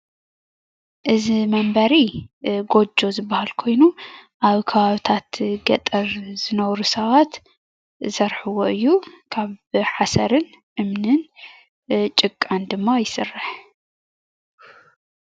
እዚ ምንበሪ ጎጆ ዝበሃል ኮይኑ ኣብ ከባብታት ገጠር ዝነብሩ ሰባት ዝሰርሕዎ እዩ። ካብ ሓሰርን እምንን ጭቃን ድማ ይስራሕ።